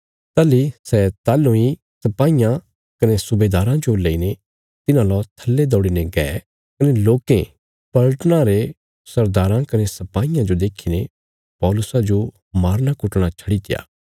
ताहली सै ताहलु इ सपाईयां कने सुबेदाराँ जो लईने तिन्हां लौ थल्ले दौड़ीने गये कने लोकें पलटना रे सरदाराँ कने सपाईयां जो देखीने पौलुसा जो मारनाकुटणा छड्डीत्या